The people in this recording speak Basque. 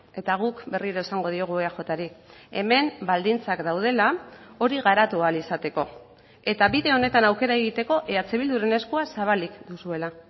eta guk berriro esango diogu eajri hemen baldintzak daudela hori garatu ahal izateko eta bide honetan aukera egiteko eh bilduren eskua zabalik duzuela